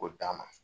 K'o d'a ma